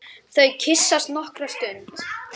Löngum djúpum stöfum.